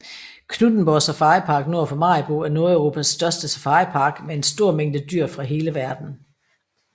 Knuthenborg Safaripark nord for Maribo er Nordeuropas største safaripark med en stor mængde dyr fra hele verden